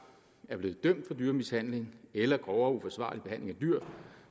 er blevet dømt for dyremishandling eller grovere uforsvarlig behandling af dyr